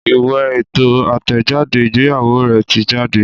Ìwé ètò àtẹ̀jáde ìgbéyàwó rè ti jáde